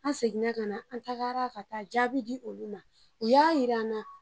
An sekinna ka na, an taga la ka taa jaabi di olu ma u y'a yira an na.